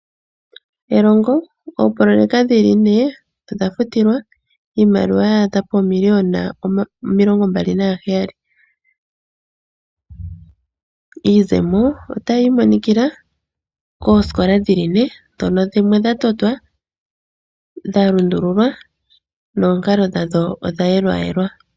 Elongo. Oopololeka dhili me odhafutilwa iimaliwa ya adha poomiliyona omilongombali naheyali Iizemo otayi imonikila koosikola dhili ne ,ndhono dhimwe dha totwa ,dha lundululwa noonkalalo dha dho odha yelwayelwa.